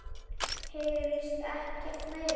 Heyrist ekkert meira.